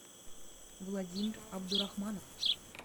владимир абдурахманов